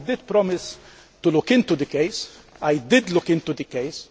I promised to look into the case, and I did look into the case.